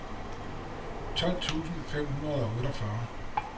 tolv tusind fem hundrede og otteogfyrre